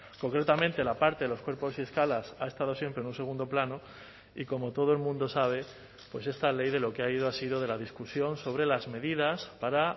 concretamente la parte de los cuerpos y escalas ha estado siempre en un segundo plano y como todo el mundo sabe pues esta ley de lo que ha ido ha sido de la discusión sobre las medidas para